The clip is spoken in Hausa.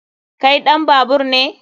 Kai ɗan babaur ne?